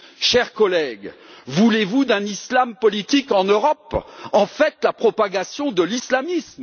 Chers collègues, voulez vous d'un islam politique en Europe en fait, de la propagation de l'islamisme?